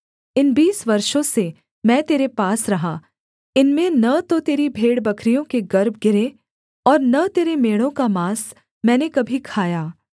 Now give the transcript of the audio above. इन बीस वर्षों से मैं तेरे पास रहा इनमें न तो तेरी भेड़बकरियों के गर्भ गिरे और न तेरे मेढ़ों का माँस मैंने कभी खाया